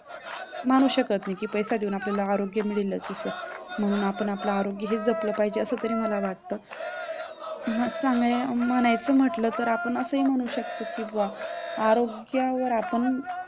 म्हणू शकत नाही की पैसा देऊन आपल्याला आरोग्य मिळेलच असं म्हणून आपण आपले आरोग्य हे जपलं पाहिजे असं तरी मला वाटतं. म्हसं म्हणायचं म्हटलं तर आपण असं ही म्हणू शकतो की बुवा आरोग्यावर आपण